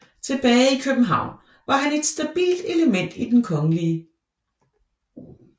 Tilbage i København var han et stabilt element i Den Kgl